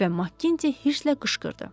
Və Makkinti hirsə qışqırdı.